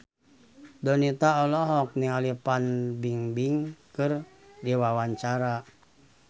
Donita olohok ningali Fan Bingbing keur diwawancara